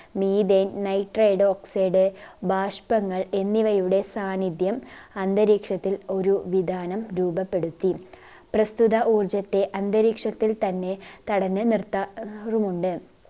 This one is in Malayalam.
methanenitride oxide ബാഷ്പങ്ങൾ എന്നിവയുടെ സാന്നിധ്യം അന്തരീക്ഷത്തിൽ ഒരു വിതാനം രൂപപ്പെടുത്തി പ്രസ്തുത ഊർജത്തെ അന്തരീക്ഷത്തിൽ തന്നെ തടഞ്ഞ് നിർത്ത ആഹ് റുമുണ്ട്